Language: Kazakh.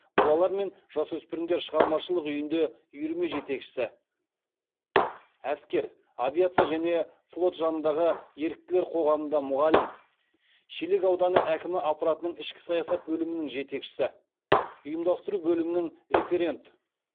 балалар мен жасөспірімдер шығармашылық үйінде үйірме жетекшісі әскер авиация және флот жанындағы еріктілер қоғамында мұғалім шелек ауданы әкімі аппаратының ішкі саясат бөлімінің жетекшісі ұйымдастыру бөлімінің референт